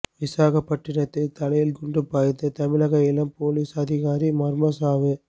விசாகப்பட்டினத்தில் தலையில் குண்டு பாய்ந்து தமிழக இளம் போலீஸ் அதிகாரி மர்மசாவு